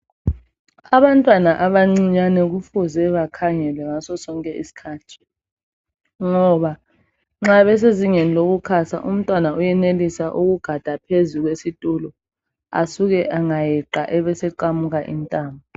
Abantwana abancinyane kufuze bakhangelwe ngaso sonke isikhathi ngoba nxa besezingeni lokukhasa umntwana uyenelisa ukugada phezulu kwesitulo asuke angayeqa ebeseqamuka intamo.